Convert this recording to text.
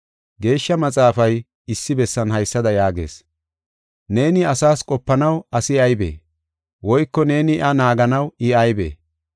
Geeshsha Maxaafay issi bessan haysada yaagees: “Neeni asas qopanaw asi aybee? Woyko neeni iya naaganaw I aybee?